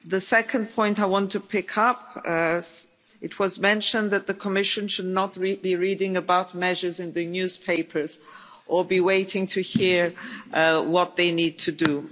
The second point I want to pick up is that it was mentioned that the Commission should not be reading about measures in the newspapers or be waiting to hear what they need to do.